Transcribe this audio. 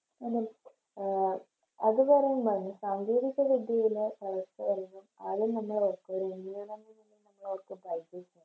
അതെ ആഹ് അത് പറയേണ്ടതാണ് സാങ്കേതിക വിദ്യയിലെ വളർച്ചകള് ആദ്യം നമ്മള്